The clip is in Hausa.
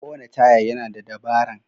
Kowane taya yana da dabaran.